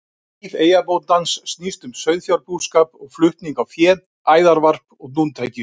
Líf eyjabóndans snýst um sauðfjárbúskap og flutning á fé, æðarvarp og dúntekju.